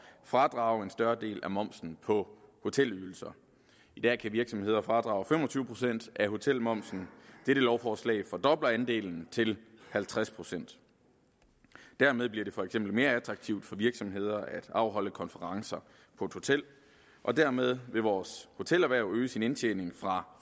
fradrage en større del af momsen på hotelydelser i dag kan virksomheder fradrage fem og tyve procent af hotelmomsen dette lovforslag fordobler andelen til halvtreds procent dermed bliver det for eksempel mere attraktivt for virksomheder at afholde konferencer på et hotel og dermed vil vores hotelerhverv øge sin indtjening fra